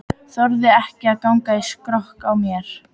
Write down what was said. Þorði ekki að ganga í skrokk á mér.